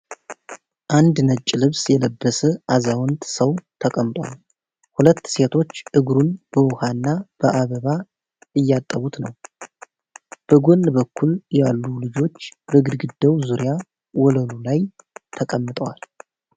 አንድ ነጭ ልብስ የለበሰ አዛውንት ሰው ተቀምጧል፤ ሁለት ሴቶች እግሩን በውሃና በአበባ እየታጠቡት ነው። በጎን በኩል ያሉ ልጆች በግድግዳው ዙሪያ ወለሉ ላይ ተቀምጠዋል።